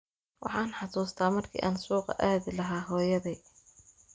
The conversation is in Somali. Waxaan xasuustaa markii aan suuqa aadi lahaa hooyaday.